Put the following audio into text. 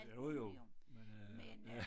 Jo jo men øh ja